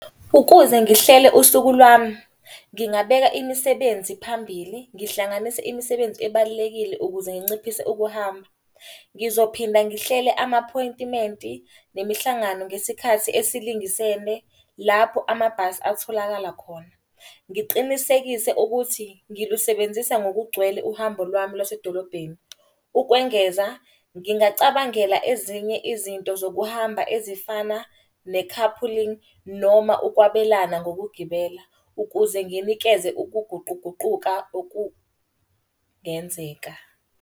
Ukuze ngihlele usuku lwami, ngingabeka imisebenzi phambili, ngihlanganise imisebenzi ebalulekile ukuze nginciphise ukuhamba. Ngizophinda ngihlele amaphoyintimenti nemihlangano ngesikhathi esilingisene, lapho amabhasi atholakala khona. Ngiqinisekise ukuthi ngilusebenzisa ngokugcwele uhambo lwami lwasedolobheni. Ukwengeza, ngingacabangela ezinye izinto zokuhamba ezifana ne-car pooling, noma ukwabelana ngokugibela. Ukuze nginikeze ukuguquguquka okungenzeka.